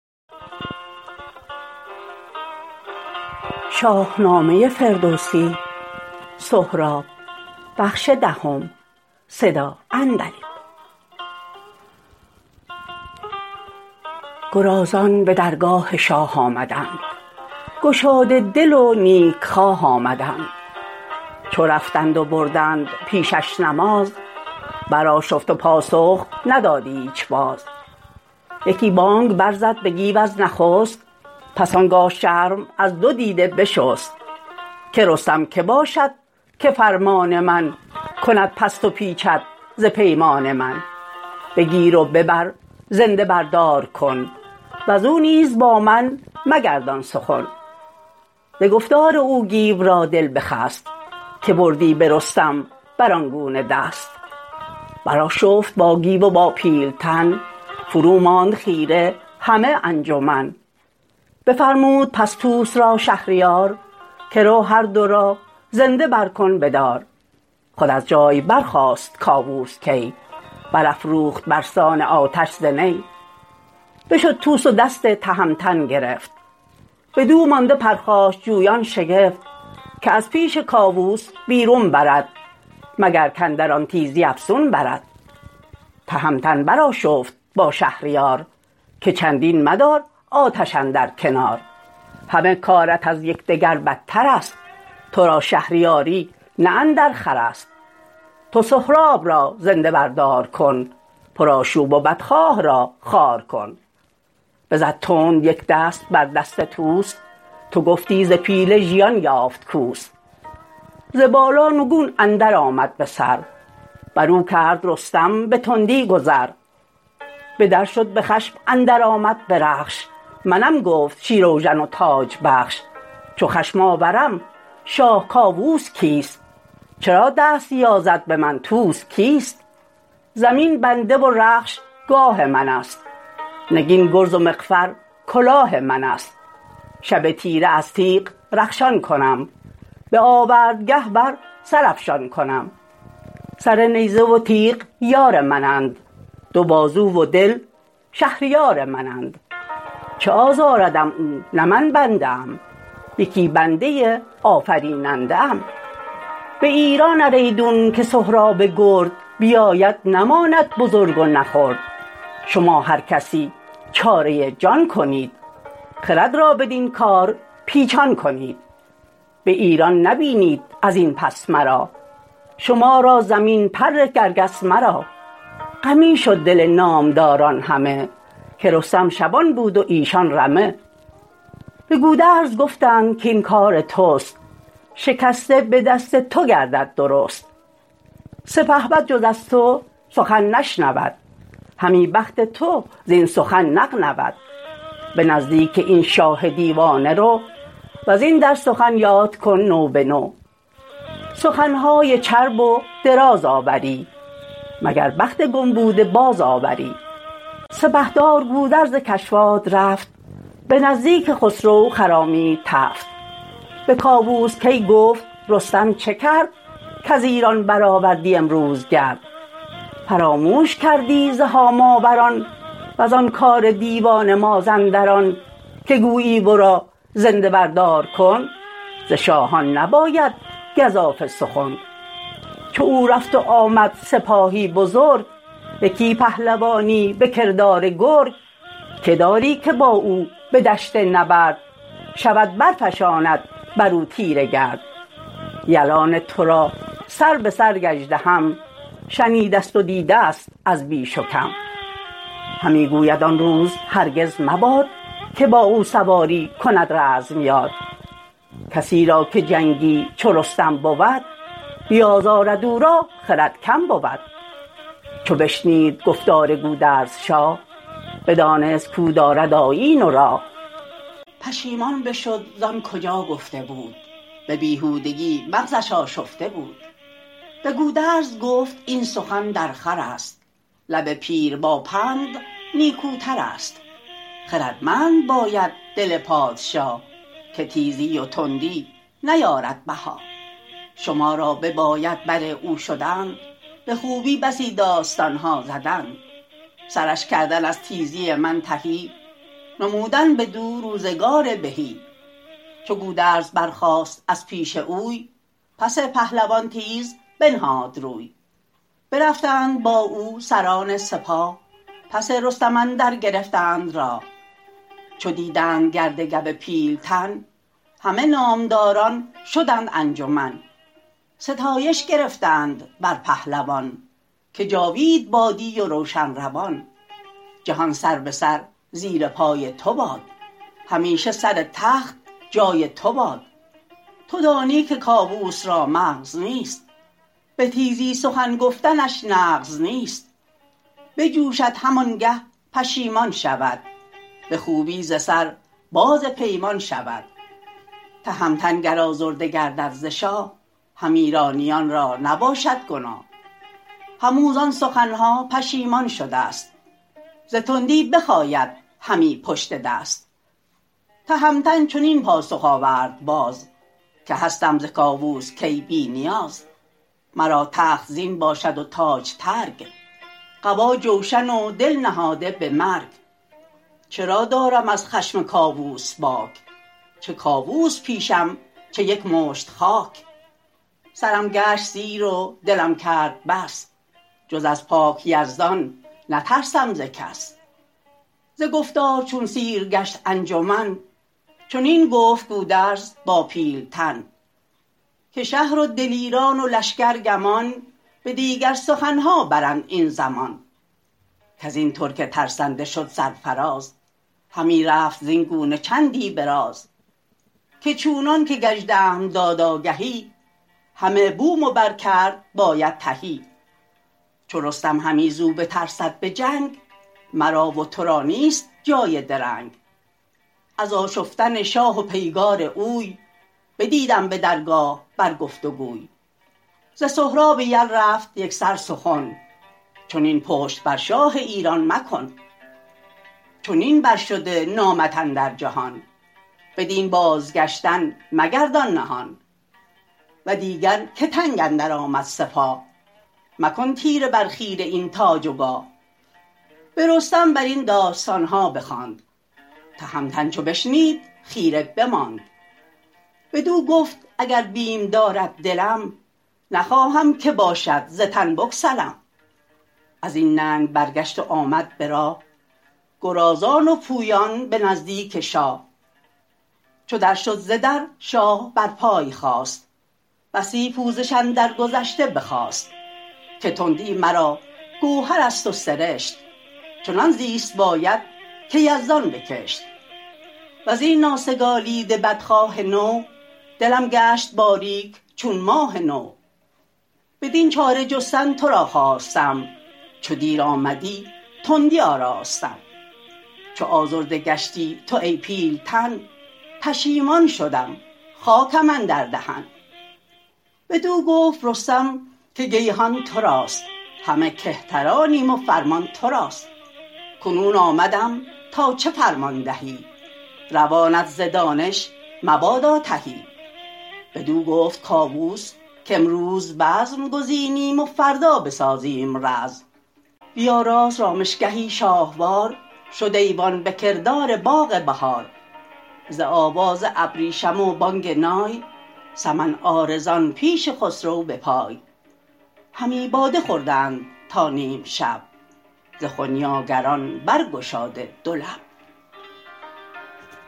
گرازان به درگاه شاه آمدند گشاده دل و نیک خواه آمدند چو رفتند و بردند پیشش نماز برآشفت و پاسخ نداد ایچ باز یکی بانگ برزد به گیو از نخست پس آنگاه شرم از دو دیده بشست که رستم که باشد که فرمان من کند پست و پیچد ز پیمان من بگیر و ببر زنده بر دار کن وزو نیز با من مگردان سخن ز گفتار او گیو را دل بخست که بردی به رستم بر آن گونه دست برآشفت با گیو و با پیلتن فرو ماند خیره همه انجمن بفرمود پس طوس را شهریار که رو هردو را زنده برکن به دار خود از جای برخاست کاووس کی برافروخت برسان آتش ز نی بشد طوس و دست تهمتن گرفت بدو مانده پرخاش جویان شگفت که از پیش کاووس بیرون برد مگر کاندر آن تیزی افسون برد تهمتن برآشفت با شهریار که چندین مدار آتش اندر کنار همه کارت از یکدگر بدترست ترا شهریاری نه اندرخورست تو سهراب را زنده بر دار کن پرآشوب و بدخواه را خوار کن بزد تند یک دست بر دست طوس تو گفتی ز پیل ژیان یافت کوس ز بالا نگون اندرآمد به سر برو کرد رستم به تندی گذر به در شد به خشم اندرآمد به رخش منم گفت شیراوژن و تاج بخش چو خشم آورم شاه کاووس کیست چرا دست یازد به من طوس کیست زمین بنده و رخش گاه من ست نگین گرز و مغفر کلاه من ست شب تیره از تیغ رخشان کنم به آورد گه بر سر افشان کنم سر نیزه و تیغ یار من اند دو بازو و دل شهریار من اند چه آزاردم او نه من بنده ام یکی بنده آفریننده ام به ایران ار ایدون که سهراب گرد بیاید نماند بزرگ و نه خرد شما هر کسی چاره جان کنید خرد را بدین کار پیچان کنید به ایران نبینید ازین پس مرا شما را زمین پر کرگس مرا غمی شد دل نامداران همه که رستم شبان بود و ایشان رمه به گودرز گفتند کاین کار تست شکسته به دست تو گردد درست سپهبد جز از تو سخن نشنود همی بخت تو زین سخن نغنود به نزدیک این شاه دیوانه رو وزین در سخن یاد کن نو به نو سخنهای چرب و دراز آوری مگر بخت گم بوده بازآوری سپهدار گودرز کشواد رفت به نزدیک خسرو خرامید تفت به کاووس کی گفت رستم چه کرد کز ایران برآوردی امروز گرد فراموش کردی ز هاماوران وزان کار دیوان مازندران که گویی ورا زنده بر دار کن ز شاهان نباید گزافه سخن چو او رفت و آمد سپاهی بزرگ یکی پهلوانی به کردار گرگ که داری که با او به دشت نبرد شود برفشاند برو تیره گرد یلان ترا سر به سر گژدهم شنیده ست و دیده ست از بیش و کم همی گوید آن روز هرگز مباد که با او سواری کند رزم یاد کسی را که جنگی چو رستم بود بیازارد او را خرد کم بود چو بشنید گفتار گودرز شاه بدانست کاو دارد آیین و راه پشیمان بشد زان کجا گفته بود به بیهودگی مغزش آشفته بود به گودرز گفت این سخن درخورست لب پیر با پند نیکوترست خردمند باید دل پادشا که تیزی و تندی نیارد بها شما را بباید بر او شدن به خوبی بسی داستانها زدن سرش کردن از تیزی من تهی نمودن بدو روزگار بهی چو گودرز برخاست از پیش اوی پس پهلوان تیز بنهاد روی برفتند با او سران سپاه پس رستم اندر گرفتند راه چو دیدند گرد گو پیلتن همه نامداران شدند انجمن ستایش گرفتند بر پهلوان که جاوید بادی و روشن روان جهان سر به سر زیر پای تو باد همیشه سر تخت جای تو باد تو دانی که کاووس را مغز نیست به تیزی سخن گفتنش نغز نیست بجوشد همانگه پشیمان شود به خوبی ز سر باز پیمان شود تهمتن گر آزرده گردد ز شاه هم ایرانیان را نباشد گناه هم او زان سخنها پشیمان شده ست ز تندی بخاید همی پشت دست تهمتن چنین پاسخ آورد باز که هستم ز کاووس کی بی نیاز مرا تخت زین باشد و تاج ترگ قبا جوشن و دل نهاده به مرگ چرا دارم از خشم کاووس باک چه کاووس پیشم چه یک مشت خاک سرم گشت سیر و دلم کرد بس جز از پاک یزدان نترسم ز کس ز گفتار چون سیر گشت انجمن چنین گفت گودرز با پیلتن که شهر و دلیران و لشکر گمان به دیگر سخنها برند این زمان کزین ترک ترسنده شد سرفراز همی رفت زین گونه چندی به راز که چونان که گژدهم داد آگهی همه بوم و بر کرد باید تهی چو رستم همی زو بترسد به جنگ مرا و ترا نیست جای درنگ از آشفتن شاه و پیگار اوی بدیدم به درگاه بر گفت وگوی ز سهراب یل رفت یکسر سخن چنین پشت بر شاه ایران مکن چنین بر شده نامت اندر جهان بدین بازگشتن مگردان نهان و دیگر که تنگ اندرآمد سپاه مکن تیره بر خیره این تاج و گاه به رستم بر این داستانها بخواند تهمتن چو بشنید خیره بماند بدو گفت اگر بیم دارد دلم نخواهم که باشد ز تن بگسلم ازین ننگ برگشت و آمد به راه گرازان و پویان به نزدیک شاه چو در شد ز در شاه بر پای خاست بسی پوزش اندر گذشته بخواست که تندی مرا گوهرست و سرشت چنان زیست باید که یزدان بکشت وزین ناسگالیده بدخواه نو دلم گشت باریک چون ماه نو بدین چاره جستن ترا خواستم چو دیر آمدی تندی آراستم چو آزرده گشتی تو ای پیلتن پشیمان شدم خاکم اندر دهن بدو گفت رستم که گیهان تراست همه کهترانیم و فرمان تراست کنون آمدم تا چه فرمان دهی روانت ز دانش مبادا تهی بدو گفت کاووس کامروز بزم گزینیم و فردا بسازیم رزم بیاراست رامشگهی شاهوار شد ایوان به کردار باغ بهار ز آواز ابریشم و بانگ نای سمن عارضان پیش خسرو به پای همی باده خوردند تا نیم شب ز خنیاگران برگشاده دو لب